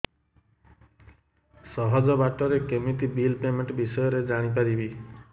ସହଜ ବାଟ ରେ କେମିତି ବିଲ୍ ପେମେଣ୍ଟ ବିଷୟ ରେ ଜାଣି ପାରିବି